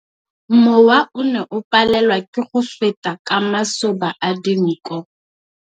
Mowa o ne o palelwa ke go feta ka masoba a dinko.